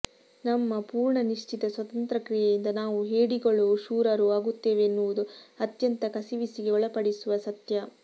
ನಮ್ಮ ಪೂರ್ಣ ನಿಶ್ಚಿತ ಸ್ವತಂತ್ರ ಕ್ರಿಯೆಯಿಂದ ನಾವು ಹೇಡಿಗಳೊ ಶೂರರೊ ಆಗುತ್ತೇವೆನ್ನುವುದು ಅತ್ಯಂತ ಕಸಿವಿಸಿಗೆ ಒಳಪಡಿಸುವ ಸತ್ಯ